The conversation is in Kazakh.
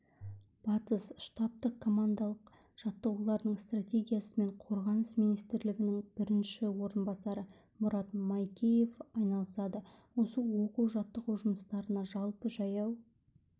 батыс штабтық-командалық жаттығулардың стратегиясымен қорғаныс министрлігінің бірінші орынбасары мұрат майкеев айналысады осы оқу-жаттығу жұмыстарына жалпы жаяу